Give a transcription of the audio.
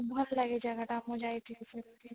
ଭଲ ଲାଗେ ଜାଗା ଟା ମୁଁ ଯାଇଥିଲି ସେଠିକି